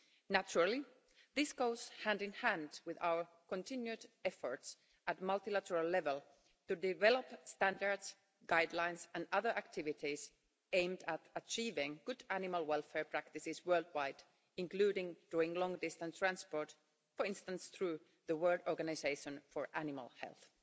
Naturally, this goes hand in hand with our continued efforts at multilateral level to develop standards, guidelines and other activities aimed at achieving good animal welfare practices worldwide, including during long distance transport, for instance through the World Organisation for Animal Health.